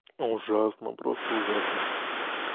ужасно просто ужасно